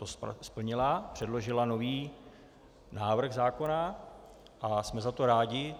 To splnila, předložila nový návrh zákona a jsme za to rádi.